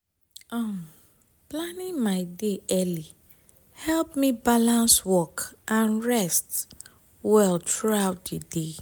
um planning my day early help me balance work and rest well throughout di day.